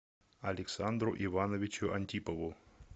александру ивановичу антипову